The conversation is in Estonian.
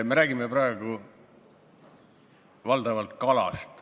Me räägime praegu valdavalt kalast.